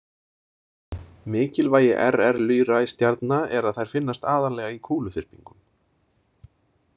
Mikilvægi RR Lyrae stjarna er að þær finnast aðallega í kúluþyrpingum.